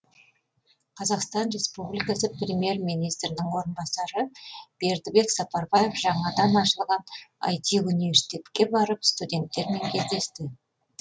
қазақстан республикасы премьер министрінің орынбасары бердібек сапарбаев жаңадан ашылған іт университетке барып студенттермен кездесті